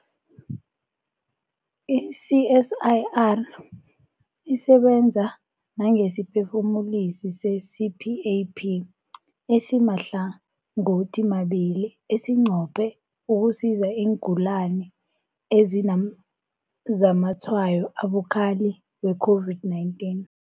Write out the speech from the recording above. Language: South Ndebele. I-CSIR isebenza nangesiphefumulisi se-CPAP esimahlangothimabili esinqophe ukusiza iingulani ezinazamatshwayo abukhali we-COVID-19.